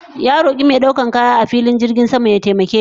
Ya roke mai daukan kaya a filin jirgin sama ya taimake shi